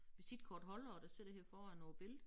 Visitkortholdere der sidder her foran på æ billede